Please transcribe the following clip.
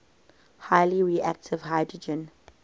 highly reactive hydrogen